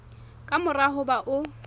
ka mora ho ba o